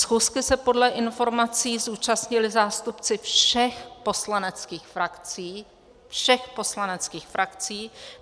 Schůzky se podle informací zúčastnili zástupci všech poslaneckých frakcí - všech poslaneckých frakcí!